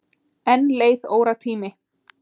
Enn leið óratími.